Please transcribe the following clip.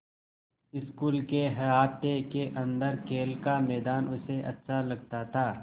school के अहाते के अन्दर खेल का मैदान उसे अच्छा लगता था